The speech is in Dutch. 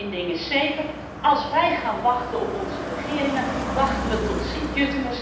Een ding is zeker, als wij gaan wachten op onze regeringen, wachten wij tot St.